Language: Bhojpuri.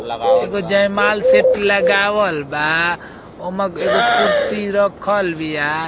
एगो जयमाल सेट लगावल बा ओमा एगो कुर्सी रखल बिया।